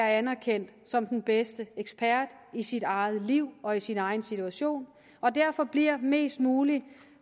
anerkendt som den bedste ekspert i sit eget liv og i sin egen situation og derfor bliver mest muligt